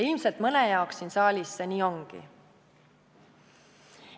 Ilmselt mõne jaoks siin saalis see nii ongi.